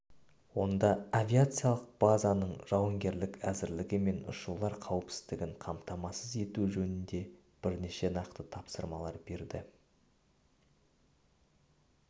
онда авиациялық базаның жауынгерлік әзірлігі мен ұшулар қауіпсіздігін қамтамасыз ету жөнінде бірнеше нақты тапсырмалар берді